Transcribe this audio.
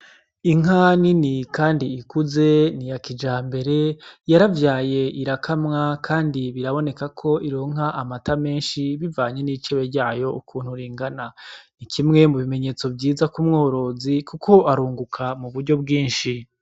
Inka nini kandi ikuze ni ya kijambere, yaravyaye irakamwa kandi biraboneka ko ironka amata menshi bivanye n’icebe ryayo ukuntu ringana. Ni kimwe mu bimenyetso vyiza ku mwororozi kuko arunguka mu buryo bwinshi.